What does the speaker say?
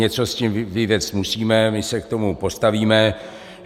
Něco s tím vyvést musíme, my se k tomu postavíme.